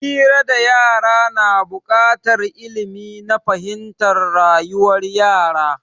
Hira da yara na bukatar ilmi na fahimtar rayuwar yara